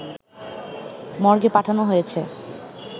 মর্গে পাঠানো হয়েছে।